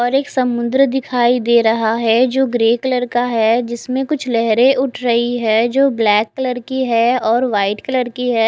एक समन्दर दिखाई दे रहा है जो ग्रे कलर का है जिसमे कुछ लहरे उठ रही है जो ब्लैक कलर की है वाइट कलर की है।